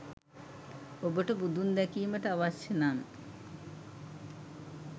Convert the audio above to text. ඔබට බුදුන් දැකීමට අවශ්‍යය නම්